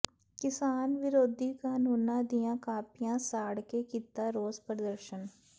ਕਿਸਾਨ ਵਿਰੋਧੀ ਕਾਨੂੰਨਾਂ ਦੀਆਂ ਕਾਪੀਆਂ ਸਾੜ ਕੇ ਕੀਤਾ ਰੋਸ ਪ੍ਰਦਰਸ਼ਨ